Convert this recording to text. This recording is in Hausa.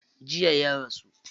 Jiya ya rasu.